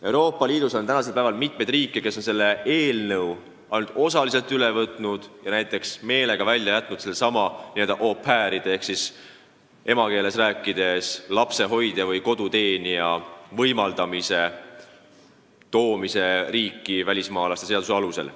Euroopa Liidus on tänasel päeval mitu riiki, kes on selle direktiivi ainult osaliselt üle võtnud ja näiteks välja jätnud sellesama au pair'ide ehk siis meie emakeeles lapsehoidjate-koduabiliste riiki lubamise välismaalaste seaduse alusel.